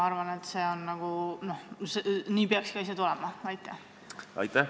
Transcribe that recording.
Aitäh!